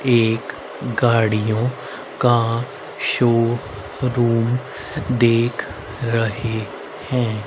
एक गाड़ियों का शोरूम देख रहे हैं।